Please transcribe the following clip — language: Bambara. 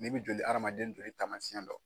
N'i bɛ joli hadamaden joli taamasiyɛn dɔn